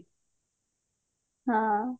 ହଁ